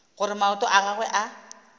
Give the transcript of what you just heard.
gore maoto a gagwe a